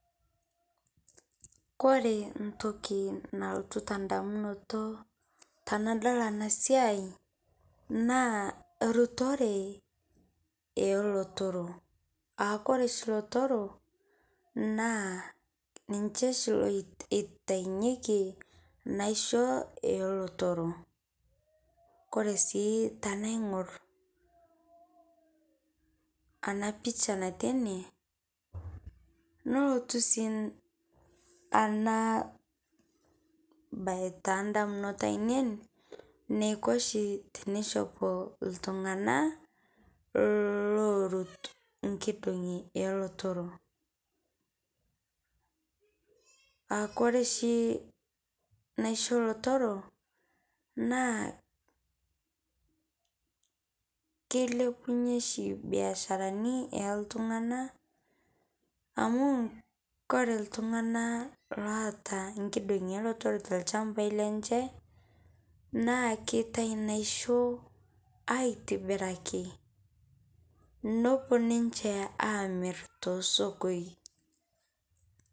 Kore ntokii nalotuu te ndamunot tanadol ana siai naa rutoree e lotoro aa kore shii lotoro naa ninchee shii loitanyeki naishoo ele toroo. Kore sii tanaing'orr ana picha natii ene lootu sii ana bayi ta ndamunot ainen neikoo shii teneshoop ltung'ana loorot lkidong'i e lootoro, aa kore shii naishoo lotoro naa keilepunye shii biasharani e ltung'ana amu kore ltung'ana loata lkidong'o e lotoro te lchambai lenchee naa keitai naishoo aitibiraki nopoo ninchee amiir to sokoi.